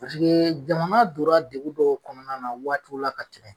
Paseke jamana donna degu dɔw kɔnɔna na waatiw la ka tɛmɛ